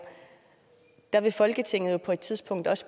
vil folketinget på et tidspunkt